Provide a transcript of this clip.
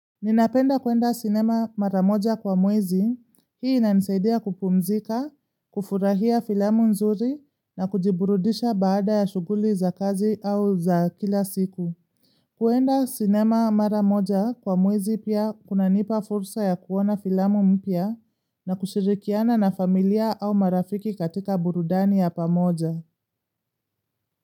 Ninapenda kuenda sinema maramoja kwa mwezi, hii inanisaidia kupumzika, kufurahia filamu nzuri na kujiburudisha baada ya shuguli za kazi au za kila siku. Kwenda sinema maramoja kwa mwezi pia kuna nipa fursa ya kuona filamu mpya na kushirikiana na familia au marafiki katika burudani ya pamoja.